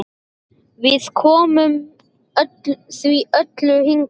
Við komum því öllu hingað.